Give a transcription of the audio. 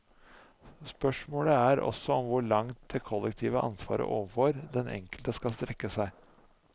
Spørsmålet er også om hvor langt det kollektive ansvaret overfor den enkelte skal strekke seg.